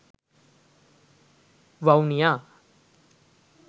vavuniya